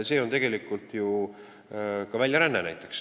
See on tegelikult ju näiteks ka väljaränne.